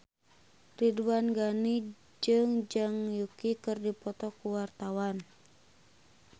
Ridwan Ghani jeung Zhang Yuqi keur dipoto ku wartawan